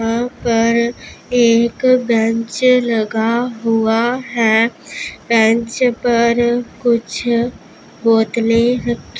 यहां पर एक बेंच लगा हुआ है बेंच पर कुछ बोतलें रखी --